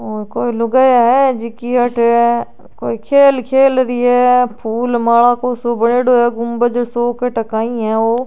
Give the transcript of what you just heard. वो कोई लुगाईया है जिकी अठे कोई खेल खेल रही है आ फूल माला को सो बणयोडो है गुम्बज सो कटे काई है ओ।